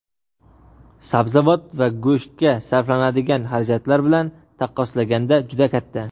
sabzavot va go‘shtga sarflanadigan xarajatlar bilan taqqoslaganda juda katta.